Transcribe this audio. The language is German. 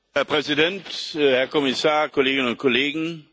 Herr Präsident, Herr Kommissar, Kolleginnen und Kollegen!